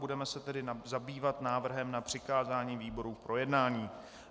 Budeme se tedy zabývat návrhem na přikázání výborům k projednání.